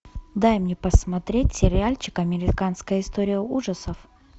дай мне посмотреть сериальчик американская история ужасов